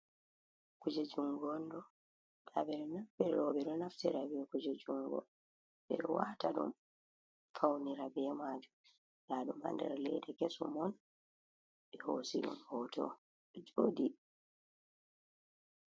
Kuje njungonɗo. Robe ɗo naftira be kuje jungo be wata ɗum faunira be majum. Ndum ha ɗen leeɗa keson be hosiɗom hoto jodi.